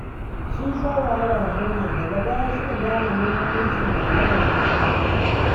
Sun sha wahalar haya, daga baya suka gane muhimmancin mallakar fili.